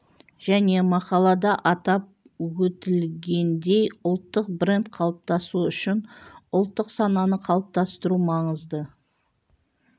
және мақалада атап өтілгендей ұлттық бренд қалыптасуы үшін ұлттық сананы қалыптастыру маңызды